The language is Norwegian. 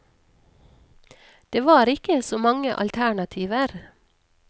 Det var ikke så mange alternativer.